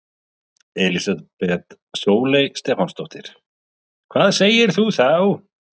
Elísabet Sóley Stefánsdóttir: Hvað segir þú þá?